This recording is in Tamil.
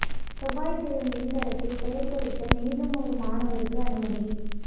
செவ்வாய் செல்லும் விண்கலத்தில் பெயா் பொறிக்க மேலும் ஒரு மாணவருக்கு அனுமதி